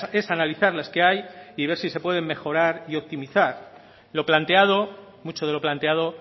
es analizar las que hay y ver si se pueden mejorar y optimizar lo planteado mucho de lo planteado